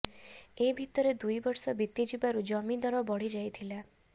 ଏ ଭିତରେ ଦୁଇ ବର୍ଷ ବିତି ଯିବାରୁ ଜମି ଦର ବଢ଼ି ଯାଇଥିଲା